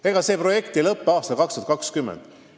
Ega see projekt ei lõpe aastal 2020.